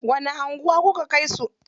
Wani anguwa kuka kai su?